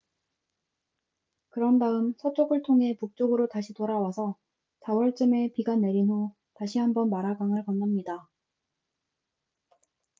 그런 다음 서쪽을 통해 북쪽으로 다시 돌아와서 4월쯤에 비가 내린 후 다시 한번 마라 강을 건넙니다